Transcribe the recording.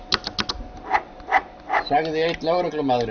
sagði einn lögreglumaðurinn.